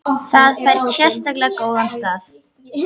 Það fær sérlega góðan stað.